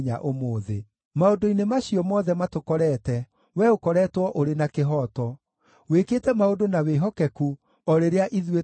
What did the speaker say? Maũndũ-inĩ macio mothe matũkorete, wee ũkoretwo ũrĩ na kĩhooto; wĩkĩte maũndũ na wĩhokeku, o rĩrĩa ithuĩ tũhĩtĩtie.